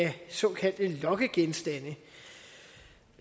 såkaldte lokkegenstande